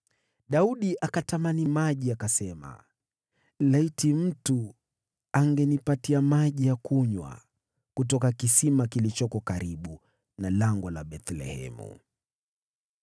Daudi akatamani maji, akasema, “Laiti mtu angenipatia maji ya kunywa kutoka kisima kilichoko karibu na lango la Bethlehemu!”